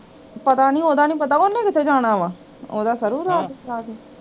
ਪਤਾ ਨੀ ਉਹਦਾ ਨੀ ਪਤਾ ਉਹਨੇ ਕਿੱਥੇ ਜਾਣਾ ਵਾਂ, ਉਹਦਾ ਹਮ ਸਰੂ ਰਾਤ ਜਾਕੇ